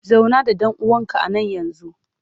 Zauna da ɗuwawunka a nan yanzu!